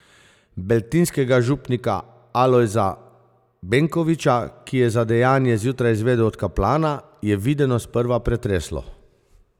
Beltinskega župnika Alojza Benkoviča, ki je za dejanje zjutraj izvedel od kaplana, je videno sprva pretreslo.